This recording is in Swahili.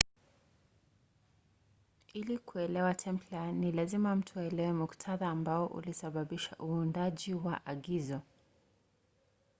ili kuelewa templar ni lazima mtu aelewe muktadha ambao ulisababisha uundaji wa agizo